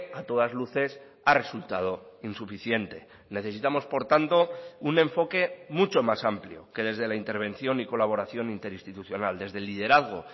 a todas luces a resultado insuficiente necesitamos por tanto un enfoque mucho más amplio que desde la intervención y colaboración interinstitucional desde el liderazgo